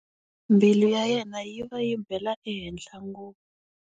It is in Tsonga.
Mbilu ya yena yi va yi bela ehenhla ngopfu.